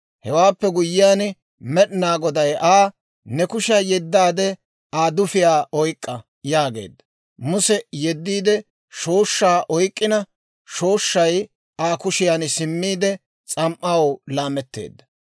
Hewaappe guyyiyaan Med'inaa Goday Aa, «Ne kushiyaa yeddaade, Aa dufiyaa oyk'k'a» yaageedda. Muse yeddiide shooshshaa oyk'k'ina, shooshshay Aa kushiyaan simmiide, s'am"aw laametteedda.